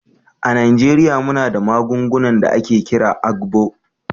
A Najeriya muna da magungunan da ake kira "agbo"